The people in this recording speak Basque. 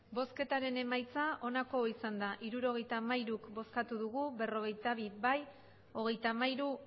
emandako botoak hirurogeita hamairu bai berrogeita bi ez hogeita hamairu